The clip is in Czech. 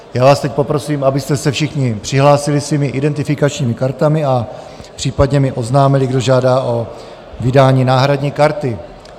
Já vás teď poprosím, abyste se všichni přihlásili svými identifikačními kartami a případně mi oznámili, kdo žádá o vydání náhradní karty.